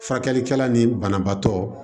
Furakɛlikɛla ni banabaatɔ